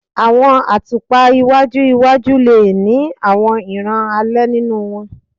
Awọn atupa iwaju iwaju le ni awọn iran alẹ ninu wọn